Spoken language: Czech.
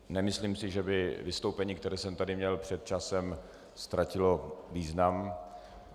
Nemyslím si, že by vystoupení, které jsem tady měl před časem, ztratilo význam.